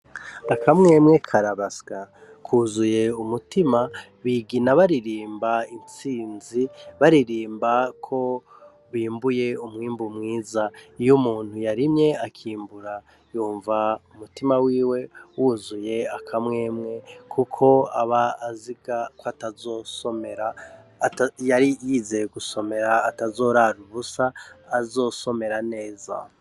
Akamwemwe karabasya, kuzuye umutima, bigina baririmba intsinzi, baririmba ko bimbuye umwimbu mwiza. Iyo umuntu yarimye akimbura, yumva umutima wiwe wuzuye akamwemwe, kuko aba aziga ko atazosomera, yari yizeye gusomera atazorara ubusa, azosomera neza.